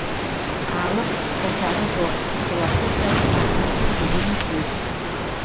алып қосары жоқ философиялық мағынасы терең сөз